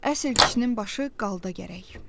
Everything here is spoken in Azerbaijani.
Əsl kişinin başı qalda gərək.